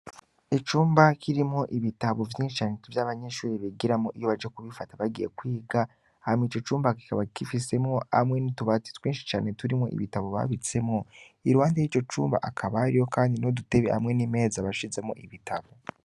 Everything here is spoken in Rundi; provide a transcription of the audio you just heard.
Icumba kirimwo ibitabo vyinshi cane vy'abanyeshure bigiramwo iyo baje kubifata bagiye kwiga hama ico cumba kikaba gifisemwo hamwe n'utubati twinshi cane turimwo ibitabo babitsemwo. Iruhande yico cumba hakaba kandi n'udutebe hamwe n'imeza bashizemwo ibitabo.